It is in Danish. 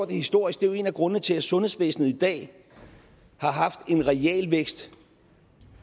det historisk det er jo en af grundene til at sundhedsvæsenet i dag har haft en realvækst